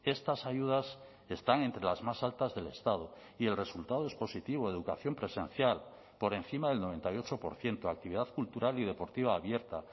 estas ayudas están entre las más altas del estado y el resultado es positivo educación presencial por encima del noventa y ocho por ciento actividad cultural y deportiva abierta